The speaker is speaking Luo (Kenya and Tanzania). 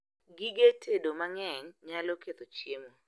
Gige tedo mang'eny nyalo ketho chiemo